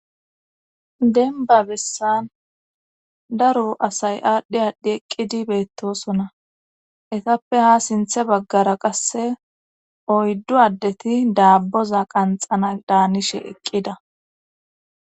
denba bessan daro asay aadhdhi aadhdhi eqqidi beettosona etappe ha sinthe baggara qasse oyddu addeti daabboza qanxana daanishe eqqida